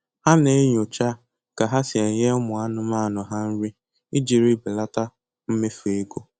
Ha na-enyocha ka ha si enye ụmụ anụmanụ ha nri ijiri belata mmefu ego